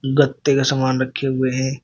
गत्ते का सामान रखे हुए हैं।